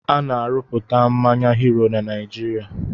Ana-arụpụta mmanya "Hero" na Naijiria